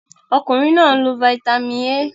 Okunrin naa n lo Fítàmì A.